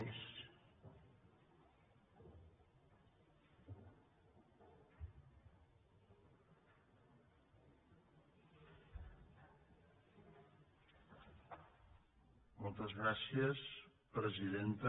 moltes gràcies presidenta